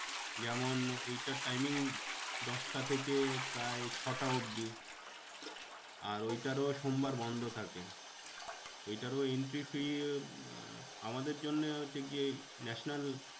যেমন ওইটার timing দশটা থেকে প্রায় ছটা অবধি আর ওইটারও সোমবার বন্ধ থাকে। ওইটারও entry fee আহ আমাদের জন্যে হচ্ছে কি ওই national